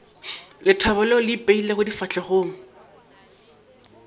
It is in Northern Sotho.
lethabo leo le ipeilego difahlegong